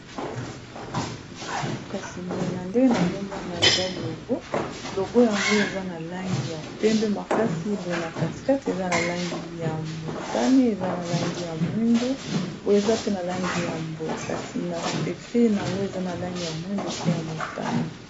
kasi boye na ndenge nazomona eza logo logo yango eza na langi ya pembe makasi boye na katikate eza na langi ya motane eza na langi ya mwindu boye eza pe na langi ya boye kasi na ekrina yango eza na langi ya mwindu pe ya motane